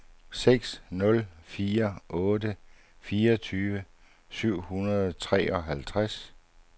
seks nul fire otte fireogtyve syv hundrede og treoghalvtreds